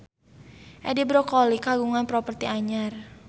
Edi Brokoli kagungan properti anyar